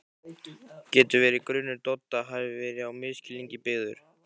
Getur verið að grunur Dodda hafi verið á misskilningi byggður?